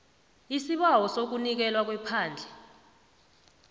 isibawo sokunikelwa kwephandle